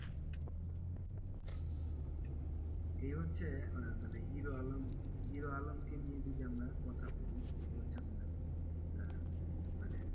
এই হচ্ছে আহ মানে হিরো আলম হিরো আলমকে নিয়ে যদি আমরা কথা বলি এটা হচ্ছে আপনার আহ মানে,